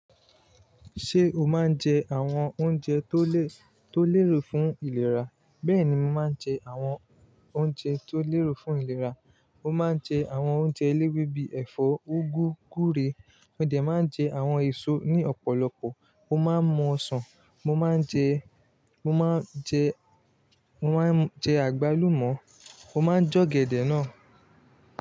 Ṣé o máa ń jẹ àwọn oúnjẹ tó lè, tó lérò fún ìlera? Bẹ́ẹ̀ni, mo máa ń jẹ àwọn oúnjẹ tó lérò fún ìlera. Mo máa ń jẹ àwọn oúnjẹ eléwé bí ẹ̀fọ́, úgú, gúre, mo dẹ̀ máa ń jẹ àwọn èso ní ọ̀pọ̀lọpọ̀, mo máa ń mu ọsàn, mo máa ń jẹ, mo máa ń jẹ, mo máa ń jẹ àgbálùmọ̀, mo máa ń jẹ ọ̀gẹ̀dẹ̀ náà.